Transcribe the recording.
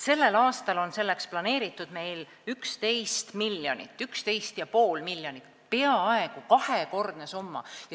Sellel aastal on meil selleks planeeritud 11,5 miljonit, peaaegu kahekordne summa.